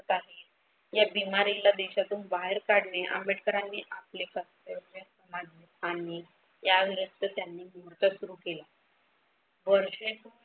आहे या बिमारीला देशातून बाहेर काढणे आंबेडकरांनी आपले कर्तव्य मानले आणि याविरुद्ध त्यांनी युद्ध सुरु केले. वर्षे होत आली